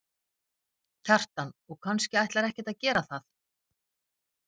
Kjartan: Og kannski ætlar ekkert að gera það?